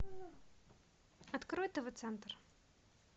открой тв центр